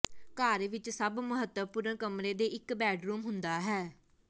ਘਰ ਵਿਚ ਸਭ ਮਹੱਤਵਪੂਰਨ ਕਮਰੇ ਦੇ ਇਕ ਬੈੱਡਰੂਮ ਹੁੰਦਾ ਹੈ